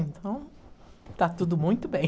Então, está tudo muito bem.